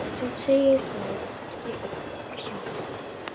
Samt segir það sig sjálft.